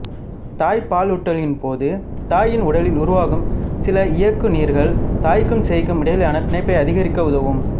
தாய்ப்பாலூட்டலின்போது தாயின் உடலில் உருவாகும் சில இயக்குநீர்கள் தாய்க்கும் சேய்க்கும் இடையிலான பிணைப்பை அதிகரிக்க உதவும்